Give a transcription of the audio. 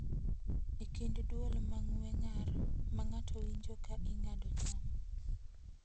E kind dwol ma ng’we ng’ar ma ng’ato winjo ka ing'ado cham.